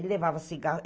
Ele levava cigarro.